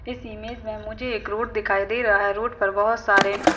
इस इमेज में मुझे एक रोड दिखाई दे रहा है। रोड पर बहोत सारे --